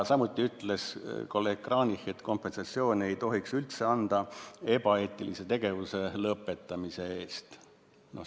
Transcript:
Samuti ütles kolleeg Kranich, et kompensatsiooni ei tohiks üldse anda ebaeetilise tegevuse lõpetamise eest.